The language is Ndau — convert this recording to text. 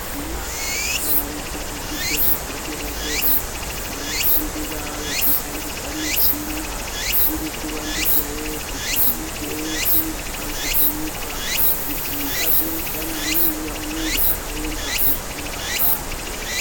Vari kuzvidzidzo zvepadera-dera vanofundira vechishandisa michina iri kuvandudzwawo, kuti iite seyekubanze kwenyika, kuti azoenzana neuya unenge akaenda kofunda kubanze.